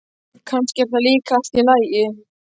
Kannski er það líka allt í lagi.